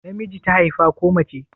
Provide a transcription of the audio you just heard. Namiji ta haifa ko mace?